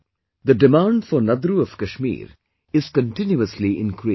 The demand for Nadru of Kashmir is continuously increasing